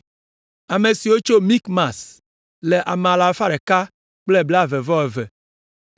Ame siwo tso Mikmas le ame alafa ɖeka kple blaeve-vɔ-eve (122).